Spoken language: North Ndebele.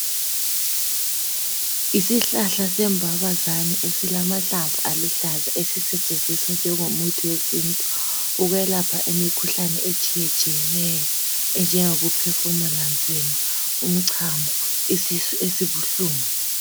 Isihlahla sembabazane esilamahlamvu aluhlaza esisetshenziswa njengomuthi wesintu ukwelapha imikhuhlane etshiyetshineyo enjengokuphefumula nzima ,umchamo, isisu esibuhlungu.